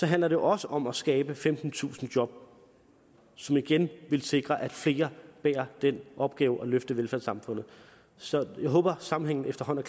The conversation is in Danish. handler det også om at skabe femtentusind job som igen vil sikre at flere bærer den opgave at løfte velfærdssamfundet så jeg håber at sammenhængen efterhånden